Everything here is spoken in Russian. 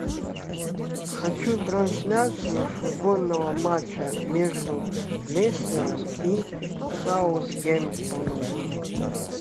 хочу трансляцию футбольного матча между лестером и саутгемптоном